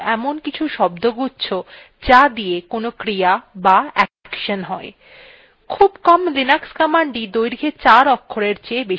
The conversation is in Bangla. সরল ভাষায় linux commands হল in কিছু শব্দগুচ্ছ যা দিয়ে কোনো ক্রিয়া বা action হয়